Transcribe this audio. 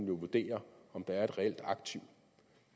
vurdere om der er et reelt aktiv